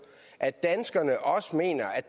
at danskerne også mener